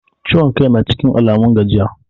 Ciwon kai na cikin Alamun gajiya?